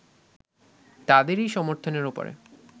তাদেরই সমর্থনের ওপরে